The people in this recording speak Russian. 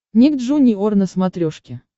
ник джуниор на смотрешке